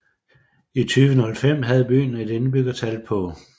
I 2005 havde byen et indbyggertal på